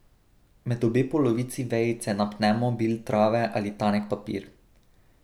Med obe polovici vejice napnemo bil trave ali tanek papir.